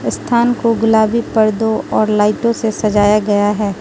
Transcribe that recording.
इस स्थान को गुलाबी पर्दों और लाइटों से सजाया गया है।